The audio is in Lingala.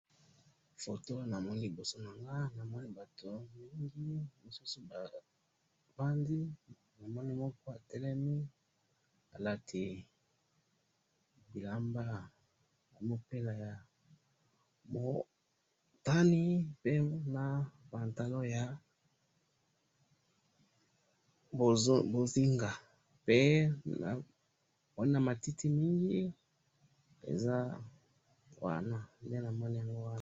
foto namoni liboso nanga namoni batu mingi misusu ba vandi namoni moko atelemi alati bilamba, mupila ya mutani, pembeni pe na pantalon na mbozingape na moni pe na matiti mingi nde namoni wana.